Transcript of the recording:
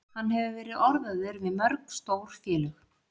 Hann hefur verið orðaður við mörg stór félög.